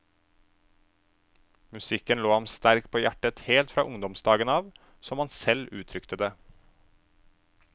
Musikken lå ham sterkt på hjertet helt fra ungdomsdagene av, som han selv uttrykte det.